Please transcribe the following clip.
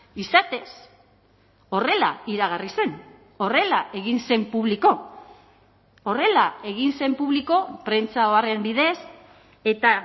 izatez horrela iragarri zen horrela egin zen publiko horrela egin zen publiko prentsa oharren bidez eta